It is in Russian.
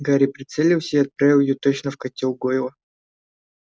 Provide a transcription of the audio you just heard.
гарри прицелился и отправил её точно в котёл гойла